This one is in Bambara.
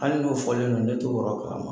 Hali n'o fɔlen don ne t'o kɔrɔ do a ma